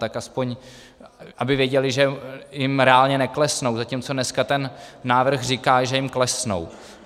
Tak aspoň aby věděli, že jim reálně neklesnou, zatímco dneska ten návrh říká, že jim klesnou.